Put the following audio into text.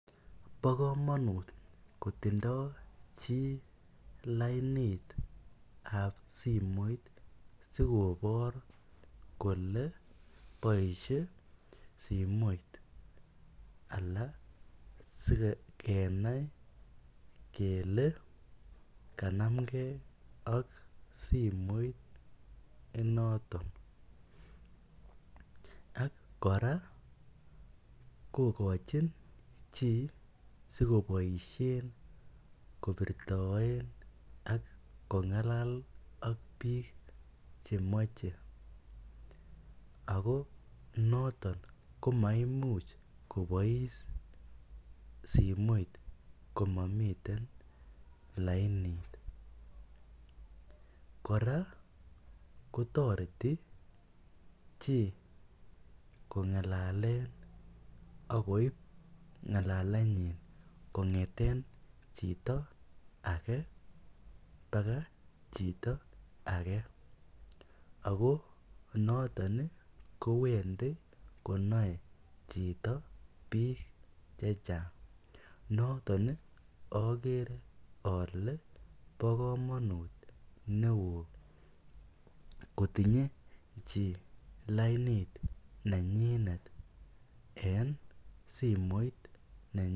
Bo kamanut kotindai chii lainit ab simoit sikobor kole boisie simoit anan sikenai kele kanamgei ak simoit inotoon ak kora kigochiin chii sikoboisien kibirtaen ak kongalal ak biik chemachei ako notoon komaimimuuch kobais simoit komamiten lainit kora kotaretii chii kongalalen akoib ngalalet nyiin kongethen chitoo age mpaka chitoo age ako notoon kowendii konai chitoo biik che chaang notoon ii agere ale bo kamanut ne uu kotinyei chii lainit ne nyineet en simoit nenyiin.